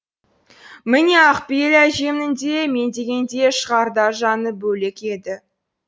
міне ақ пейіл әжемнің де мен дегенде шығарда жаны бөлек еді